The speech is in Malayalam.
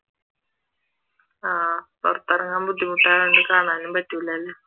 ആഹ് പുറത്തിറങ്ങാൻ ബുദ്ധിമുട്ടായതുകൊണ്ടു കാണാനും പറ്റൂല അല്ലെ?